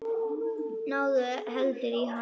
Náðu heldur í hann.